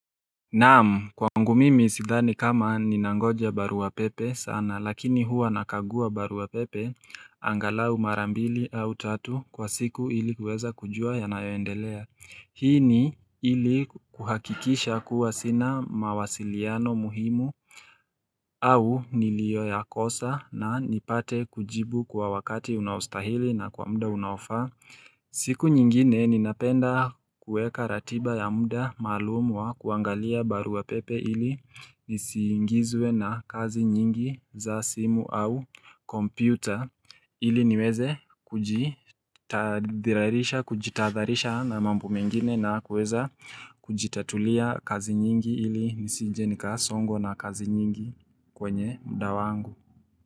Naam kwangu mimi sidhani kama ninangoja barua pepe sana lakini huwa nakagua barua pepe angalau marambili au tatu kwa siku ili kueza kujua yanayoendelea Hii ni ili kuhakikisha kuwa sina mawasiliano muhimu au nilio ya kosa na nipate kujibu kwa wakati unaostahili na kwa mda unaofa siku nyingine ninapenda kueka ratiba ya muda maalumu wa kuangalia barua pepe ili nisiingizwe na kazi nyingi za simu au kompyuta ili niweze kujitadharisha na mambo mengine na kuweza kujitatulia kazi nyingi ili nisije nika songongwa na kazi nyingi kwenye mda wangu.